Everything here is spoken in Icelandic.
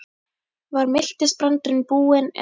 Var miltisbrandurinn búinn eða?